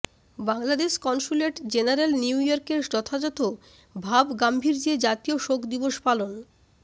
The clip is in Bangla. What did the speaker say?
বাংলাদেশ কনস্যুলেট জেনারেল নিউইয়র্ক এ যথাযথ ভাবগাম্ভীর্যে জাতীয় শোক দিবস পালন